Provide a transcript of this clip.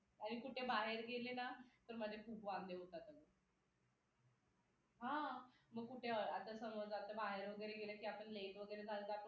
आणि कुठे बाहेर गेले ना तर माझे खूप वांदे होतात अगं हा मग कुठे आता समज आता बाहेर वगैरे गेलं की आपण late वगैरे झालं